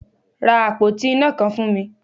Ra àpótí iná kan fún mi!